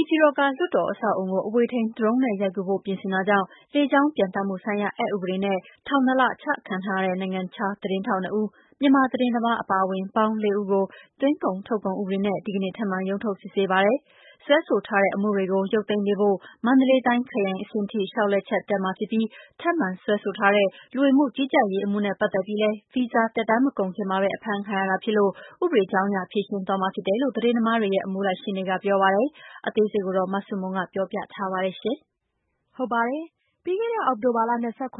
ေပြည်တော်က လွှတ်တော်အဆောက်အအုံကို အဝေးထိန်း Drone နဲ့ရိုက်ကူးဖို့ပြင်ဆင်တာကြောင့် လေကြောင်း ပျံသန်းမှုဆိုင်ရာ အက်ဥပဒေနဲ့ ထောင်နှစ်လ အချခံထားရတဲ့ နိုင်ငံခြားသတင်းထောက်နှစ်ဦး မြန်မာသတင်းသမားအပါအဝင်ပေါင်းလေးဦးကို သွင်းကုန်ထုတ်ကုန် ဥပဒေနဲ့ ဒီကနေ့ ထပ်မံရုံးထုတ်စစ်ဆေးပါတယ်။ စွဲဆိုထားတဲ့အမှုတွေကို ရုပ်သိမ်းပေးဖို့ မန္တလေးတိုင်းခရိုင်အဆင့်အထိ လျှောက်လဲချက်တက်မှာဖြစ်ပြီး ထပ်မံ စွဲဆိုထားတဲ့ လူဝင်မှုကြီးကြပ်ရေးအမှုနဲ့ ပတ်သက်ပြီးလည်း ဗီဇာသက်တမ်းမကုန်ခင်မှာပဲ အဖမ်းခံရတာဖြစ်လို့ ဥပဒေကြောင်းအရ ဖြေရှင်းသွားမှာဖြစ်တယ်လို့ သတင်းသမားတွေရဲ့ အမှုလိုက်ရှေ့နေကပြောပါတယ်။ အသေးစိတ် မဆုမွန် ပြောပြပေးမှာပါ။ ပြီးခဲ့တဲ့ အောက်တိုဘာလ ၂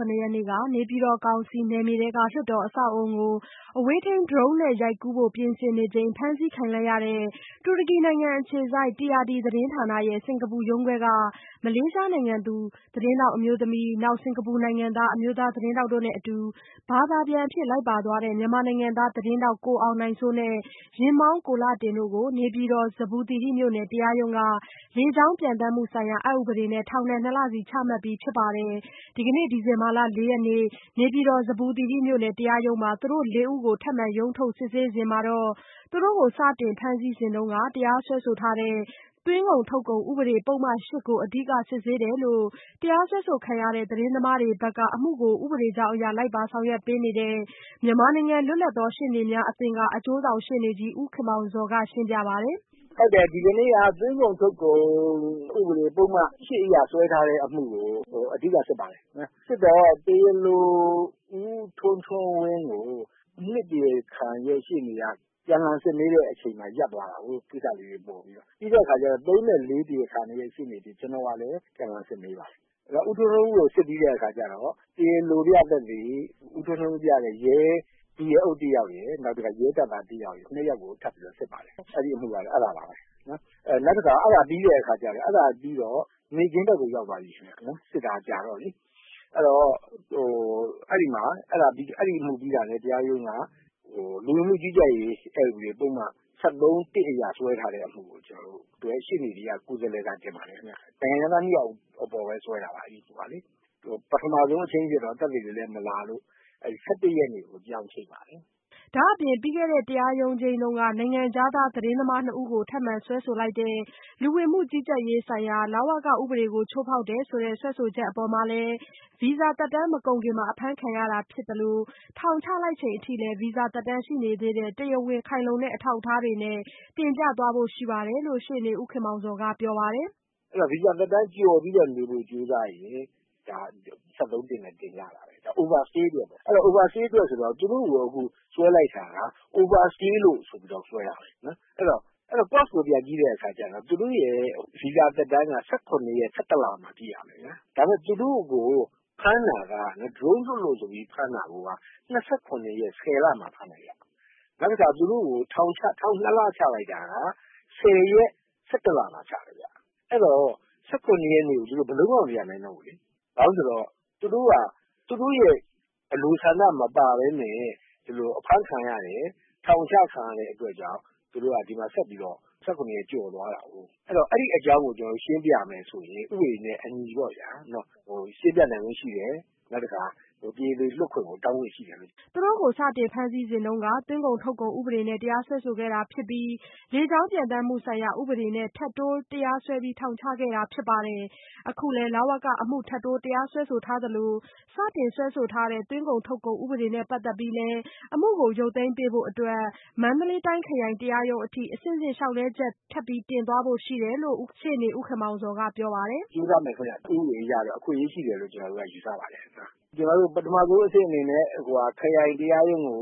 ၇ရက်နေ့က နေပြည်တော်ကောင်စီနယ်မြေထဲက လွှတ်တော်အဆောက်အအုံကို အဝေးထိန်း Drone နဲ့ရိုက်ကူးဖို့ပြင်ဆင်နေချိန် ဖမ်းဆီးခံလိုက်ရတဲ့ တူရကီနိုင်ငံအခြေစိုက် TRT သတင်းဌာနရဲ့ စင်္ကာပူရုံးခွဲက မလေးရှားနိုင်ငံသူ သတင်းထောက်အမျိုးသမီး Mok Choy Lin ၊ စင်ကာပူနိုင်ငံသား အမျိုးသားသတင်းထောက် Lau Hon Meng တို့နဲ့အတူ ဘာသာပြန်အဖြစ် လိုက်ပါသွားတဲ့ မြန်မာနိုင်ငံသား သတင်းထောက် ကိုအောင်နိုင်စိုး နဲ့ ယာဉ်မောင်း ကိုလှတင်တို့ကို နေပြည်တော် ဇမ္ဗူသီရိမြို့နယ် တရားရုံးက လေကြောင်း ပျံသန်းမှုဆိုင်ရာ အက်ဥပဒေနဲ့ ထောင်ဒဏ် ၂ လစီချမှတ်ပြီးဖြစ်ပါတယ်။ ဒီကနေ့ ဒီဇင်ဘာလ ၄ရက်နေ့ နေပြည်တော် ဇမ္ဗူသီရိမြို့နယ် တရားရုံးမှာ သူတို့လေးဦးကို ထပ်မံ ရုံးထုတ်စစ်ဆေးစဉ်တာကတော့ သူတို့ကို စတင်ဖမ်းဆီးစဉ်တုန်းက တရားစွဲထားတဲ့ သွင်းကုန်ထုတ်ကုန်ဥပဒေ ပုဒ်မ(၈) ကို အဓိက စစ်ဆေးတယ်လို့ တရားစွဲဆိုခံရတဲ့သတင်းသမားတွေဘက်က အမှုကို ဥပဒေကြောင်းအရ လိုက်ပါဆောင်ရွက်ပေးနေသူ မြန်မာနိုင်ငံ လွတ်လပ်သောရှေ့နေများအသင်းက အကျိုးဆောင်ရှေ့နေကြီး ဦးခင်မောင်ဇော်က ရှင်းပြပါတယ်။ "ဟုတ်တယ် ဒီကနေ့က သွင်းကုန်ထုတ်ကုန် ဥပဒေ ပုဒ်မ(၈)အရ ဆွဲထားတဲ့ အမှုကို အဓိက စစ်ပါတယ်။ စစ်တော့ တရားလို ဦးထွန်းထွန်းဝင်းကို ၂ တရားခံရှေ့နေက ပြန်စစ်မေးတဲ့အချိန်မှာ ရပ်သွားတယ်။ ကိစ္စလေးတွေ ပေါ်ပြီးတော့ ၊ ပြီးတော့ ၃ နဲ့ ၄ တရားခံတွေရဲ့ရှေ့နေတွေ ကျနော်ကလည်း ပြန်လှန်စစ်မေးပါတယ်။ ဆိုတော့ ဦးထွန်းထွန်းဝင်းကို စစ်ပြီးတဲ့အခါတော့ တရားလိုပြသက်သေ ဦးထွန်းထွန်းဝင်းပြောတဲ့ ဒုရဲအုပ်တယောက်ရယ်၊ နောက်တခါ ရဲတပ်သားတယောက်ရယ် အဲဒီ ၂ ယောက်ကို ထပ်ပြီးတော့ စစ်ပါတယ် အဲဒါပါပဲနော်။ နောက်တခါ အဲဒါပြီးတဲ့အခါကျတော့ နေ့ခင်းဘက်ကို ရောက်သွားတယ် စစ်တာကြာတော့လေ။ အဲဒီမှာ အဲဒီအမှုပြီးတာနဲ့ တရားရုံးက လူဝင်မှုကြီးကြပ်ရေး တရားဥပဒေပုဒ်မ ၁၃-(၁) အရ ဆွဲထားတဲ့ ပုဒ်မကို ကျနော်တို့ အမှုတွဲရှေ့နေတွေက ကိုယ်စားလှယ်စာတင်ပါတယ်ခင်ဗျ ။ နိုင်ငံခြားသားတွေကိုပဲဆွဲတာပါ။ ပထမဆုံးချိန်းတာမှာကတော့ သက်သေတွေလည်း မလာလို့ ၁၁ ရက်နေ့ကို ပြောင်းချိန်ပါတယ်။" ဒါ့အပြင် ပြီးခဲ့တဲ့ တရားရုံးချိန်းတုန်းက နိုင်ငံခြားသားသတင်းသမားနှစ်ဦးကို ထပ်မံစွဲဆိုလိုက်တဲ့ လူဝင်မှုကြီးကြပ်ရေးဆိုင်ရာဥပဒေ ချိုးဖောက်တယ်ဆိုတဲ့ စွဲဆိုချက်အပေါ်မှာလည်း ဗီဇာသက်တမ်းမကုန်ခင်မှာပဲ အဖမ်းခံရတာဖြစ်သလို ထောင်ချလိုက်ချိန်အထိလည်း ဗီဇာသက်တမ်းရှိနေသေးတဲ့ တရားဝင်ခိုင်လုံတဲ့အထောက်အထားတွေနဲ့ တင်ပြသွားဖို့ရှိတယ်လို့ ရှေ့နေဦးခင်မောင်ဇော်က ပြောပါတယ်။ "ဗီဇာသက်တမ်းကျော်ပြီးတော့ နေဖို့ ကြိုးစားရင် ဒါက ၁၃(၁) နဲ့ တင်ကြတာပဲ ဒါက Overstayအတွက်ပေါ့နော် Overstayအတွက်ဆိုတော့ သူတို့ကိုအခုဆွဲလိုက်တယ်ဆိုတာက Overstay ဆိုပြီးတော့ ဆွဲတာပဲ အဲဒီတော့ အကြောင်းအရင်းကို ပြန်ကြည့်တဲ့အခါကျတော့ သူတို့ ဗီဇာသက်တမ်းက ၁၇ ရက် ၁၁ လပိုင်းမှာ ပြည့့်မယ်။ ဒါပေမယ့် သူတို့ကို Drone လွှတ်လို့ဆိုပြီးတော့ ဖမ်းတာက ၂၇ ရက် ၁၀ လမှာ ဖမ်းတယ်ခင်ဗျ။ နောက်ပြီးတော့ သူတို့ကို ထောင် ၂ လချလိုက်တာက ၁၀ ရက် ၁၁ လမှာ ချတယ်ခင်ဗျ ။ အဲဒီတော့ ၁၇ ရက်ကို သူတို့ ဘယ်လိုမှ မပြန်နိုင်တော့ဘူးလေ။ ဘာဖြစ်လို့လဲဆိုတော့ သူတို့က သူတို့ရဲ့ အလိုဆန္ဒမပါပဲနဲ့ အဖမ်းခံရတယ်၊ ထောင်ချခံရတဲ့အတွက်ကြောင့် သူတို့က ဒီမှာဆက်ပြီးတော့ ၁၇ ရက်ကျော်သွားတာကို ဆိုတော့ အဲဒီအကြောင်းကို ရှင်းပြမယ်ဆိုရင် ဥပဒေနဲ့ အညီပေါ့ဗျာ ရှင်းပြနိုင်ခွင့်ရှိတယ်။ နောက်တခါ တရားလိုလွှတ်ခွင့်ကို တောင်းခွင့်ရှိတယ်။" သူတို့ကို စတင်ဖမ်းဆီးစဉ်က သွင်းကုန် ထုတ်ကုန်ဥပဒေနဲ့တရားစွဲဆိုခဲ့တာဖြစ်ပြီး လေကြောင်းပျံသန်းမှုဆိုင်ရာ ဥပေဒနဲ့ ထပ်တိုးတရားစွဲပြီး ထောင်ချခဲ့တာဖြစ်ပါတယ်။ အခုလည်း လဝကအမှု ထပ်တိုးတရားစွဲသလို စတင်စွဲဆိုခဲ့တဲ့ သွင်းကုန်ထုတ်ကုန်ဥပဒေနဲ့ ပတ်သက်ပြီးလည်း အမှုကို ရုပ်သိမ်းပေးဖို့အတွက် အမှုလိုက်ရှေ့နေတွေဘက်က မန္တလေးတိုင်းခရိုင်တရားရုံးအထိ အဆင့်ဆင့် လျှောက်လဲချက် တင်သွားဖို့ရှိတယ်လို့လည်း အမှုကိုလိုက်ပါဆောင်ရွက်ပေးနေတဲ့ ဦးခင်မောင်ဇော်ကပြောပါတယ်။ "ကြိုးစားမယ်ခင်ဗျ ဥပဒေအရတော့ အခွင့်အရေးရှိတယ်လို့တော့ ကျနော်တို့ယူဆပါတယ်။ ပထမဦးဆုံးအဆင့်အနေနဲ့ ကျနော်တို့ ခရိုင်တရားရုံးကို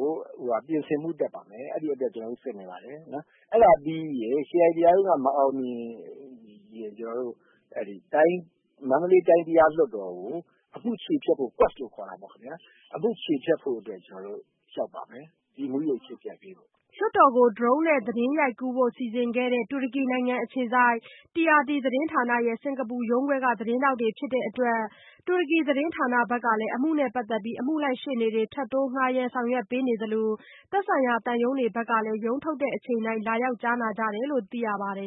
ပြင်ဆင်ဖို့ တက်ပါမယ်။ အဲဒီအတွက် ကျနော်တို့ စစ်နေပါတယ်။ အဲဒါပြီးရင် ခရိုင်တရားရုံးက မအောင်မြင်ရင် ကျနော်တို့ မန္တလေးတိုင်း တရားလွှတ်တော်ကို အမှုချေဖျက်ဖို့အတွက် ကျနော်တို့ လျှောက်ပါမယ်။ဒီအမှုကို ချေဖျက်ပေးဖို့။" လွှတ်တော်ကို Drone နဲ့ သတင်းရိုက်ကူးဖို့ စီစဉ်ခဲ့တဲ့ တူရကီနိုင်ငံအခြေစိုက် TRT သတင်းဌာနရဲ့ စင်္ကာပူရုံးခွဲက သတင်းထောက်တွေဖြစ်တဲ့အတွက် တူရကီ သတင်းဌာနကဘက်က အမှုနဲ့ပတ်သက်ပြီး အမှုလိုက်ရှေ့နေတွေ ထပ်တိုးဌားရမ်းဆောင်ရွက်ပေးနေသလို သက်ဆိုင်ရာသံရုံးတွေဘက်ကလည်း ရုံးထုတ်ချိန်တိုင်း လာရောက်ကြားနာကြတယ်လို့ သိရပါတယ်